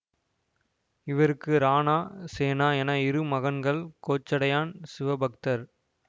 இவருக்கு ராணா சேனா என இரு மகன்கள் கோச்சடையான் சிவபக்தர்